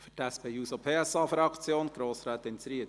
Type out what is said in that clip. Für die SP-JUSO-PSA-Fraktion: Grossrätin Zryd.